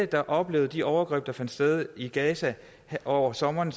der oplevede de overgreb der fandt sted i gaza over sommeren